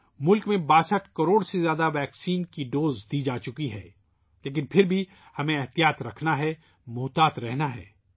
ملک میں 62 کروڑ سے زیادہ ویکسین کی ڈوز دی جا چکی ہیں لیکن پھر بھی ہمیں احتیاط رکھنی ہے احتیاط برتنی ہے